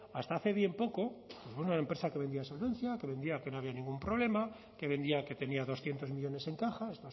hasta hace bien poco era una empresa que vendía solvencia que vendía que no había ningún problema que vendía que tenía doscientos millónes en caja